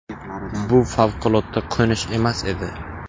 Bu favqulodda qo‘nish emas edi.